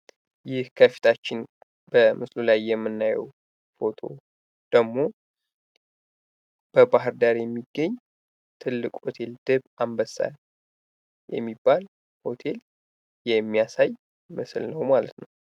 ይሄ ከፊታችን በምስሉ ላይ የምናየው ፎቶ ደግሞ በባህር ዳር የሚገኝ ትልቅ ሆቴል ድብ አንበሳ የሚባል ሆቴል የሚያሳይ ምሥል ነው